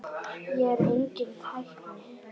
Ég er enginn tækni